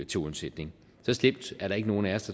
til undsætning så slemt er der ikke nogen af os